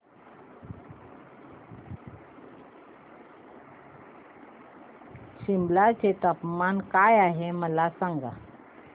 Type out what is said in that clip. सिमला चे तापमान काय आहे मला सांगा